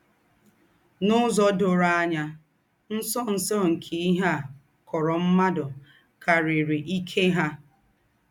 N’ụ́zọ̀ dòrò ànyà, ńsọ̀nsọ̀ nke íhe à kọ̀rọ̀ m̀ádụ́ kàrírí íkè ha.